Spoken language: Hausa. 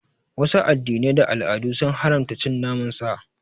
Wasu addinan da al'adun sun haramta cin naman sa.